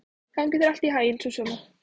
Gangi þér allt í haginn, Súsanna.